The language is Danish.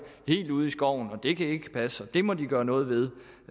helt ude i skoven det kan ikke passe det må de gøre noget ved